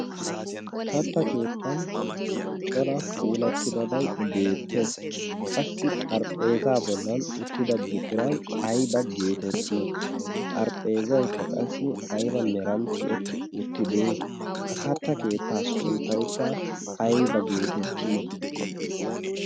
katta keettan cora puulattidabai beettees qassi xarphpheeza bollan uttida buqurai aiba geetettii xarphpheezaikka qassi aiba merantti etti uttide ha katta keettaa sunttaikka aiba geetettii?